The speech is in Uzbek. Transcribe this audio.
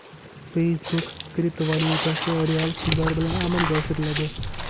Facebook kriptovalyutasi real pullar bilan amalga oshiriladi.